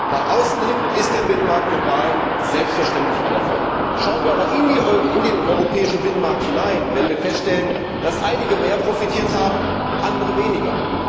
Nach außen hin ist der Binnenmarkt global selbstverständlich ein Erfolg. Schauen wir aber in den europäischen Binnenmarkt hinein, werden wir feststellen, dass einige mehr profitiert haben, andere weniger.